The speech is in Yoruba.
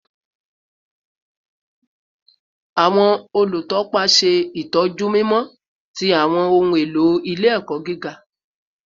Awọn olutọpa ṣe itọju mimọ ti awọn ohun elo ile-ẹkọ giga